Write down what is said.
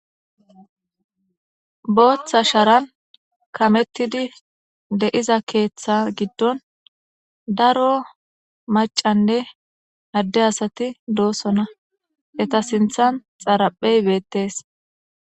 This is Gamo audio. booththa sharan kamettidi deiza keeththa giddon daro macanne adde asati doosona eta sinthan xaraphey beettes